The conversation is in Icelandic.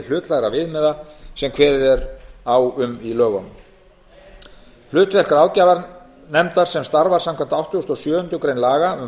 hlutlægra viðmiða sem kveðið er á um í lögunum hlutverk ráðgjafarnefndar sem starfar samkvæmt áttugustu og sjöundu grein laga um